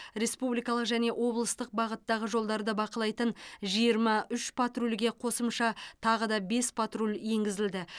республикалық және облыстық бағыттағы жолдарды бақылайтын жиырма үш патрульге қосымша тағы бес патруль енгізілді